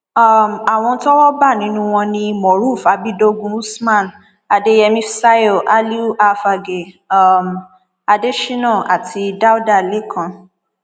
um àwọn tọwọ bá nínú wọn ni moruf abídógun usman adeyemi fsayo aliu afagae um adésínà àti dáúdà lẹkàn